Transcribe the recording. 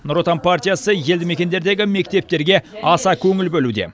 нұр отан партиясы елді мекендердегі мектептерге аса көңіл бөлуде